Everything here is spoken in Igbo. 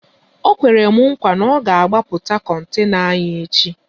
Ọ kwere m nkwa na ọ ga agbapụta kontena anyị echi